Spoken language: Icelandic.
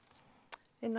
inni á